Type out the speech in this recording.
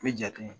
U bɛ ja tun ye